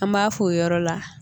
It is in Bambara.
An m'a fɔ o yɔrɔ la